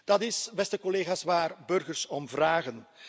Dat is, beste collega's, waar burgers om vragen.